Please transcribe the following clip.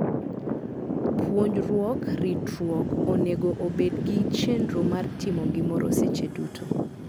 Puonjruok ritruok onego obed gi chenro mar timo gimoroseche duto.